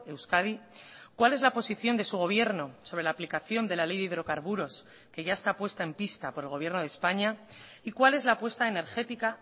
euskadi cuál es la posición de su gobierno sobre la aplicación de la ley de hidrocarburos que ya está puesta en pista por el gobierno de españa y cuál es la apuesta energética